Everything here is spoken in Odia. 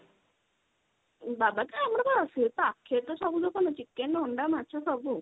ବାବା ତ ଆମର ତ ସିଏ ତ ଆଖି ଆଗରେ ସବୁ ଦୋକାନ ଅଛି chicken ଅଣ୍ଡା ମାଛ ସବୁ।